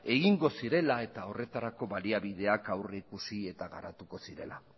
egingo zirela eta horretarako baliabideak aurrikusi eta garatuko zirela